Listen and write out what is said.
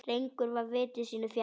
Drengur var viti sínu fjær.